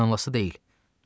İnanılası deyil.